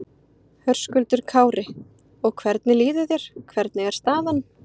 Höskuldur Kári: Og hvernig líður þér, hvernig er staðan?